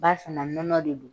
Barisa na nɔnɔ de don